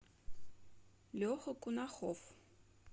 леха кунахов